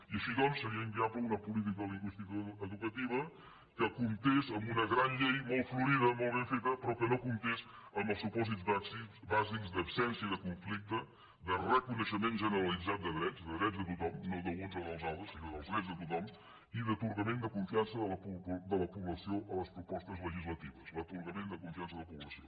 i així doncs seria inviable una política lingüística edu·cativa que comptés amb una gran llei molt florida molt ben feta però que no comptés amb els supòsits bàsics d’absència de conflicte de reconeixement generalitzat de drets de drets de tothom no d’uns o dels altres sinó dels drets de tothom i d’atorgament de confiança de la població a les propostes legislatives l’atorgament de confiança de la població